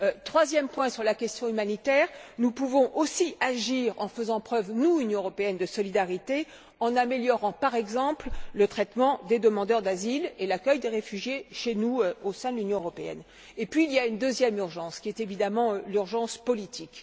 Troisième point sur le plan humanitaire, nous pouvons aussi agir en faisant preuve, nous, Union européenne, de solidarité, en améliorant, par exemple, le traitement des demandeurs d'asile et l'accueil des réfugiés chez nous, au sein de l'Union européenne. Et puis, il y a une deuxième urgence, qui est évidemment l'urgence politique.